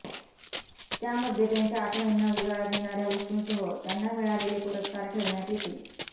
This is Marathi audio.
त्यामध्ये त्यांच्या आठवणींना उजाळा देणाऱ्या वस्तूंसह त्यांना मिळालेले पुरस्कार ठेवण्यात येतील